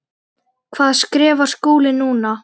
Hvað skrifar Skúli núna?